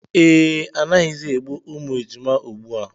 Ee, anaghịzi egbu ejima ugbu a